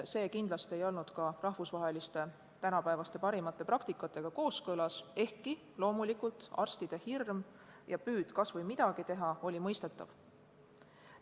See kindlasti ei olnud tänapäeva rahvusvaheliste parimate praktikatega kooskõlas, ehkki arstide hirm ja püüd kas või midagi teha, oli loomulikult mõistetav.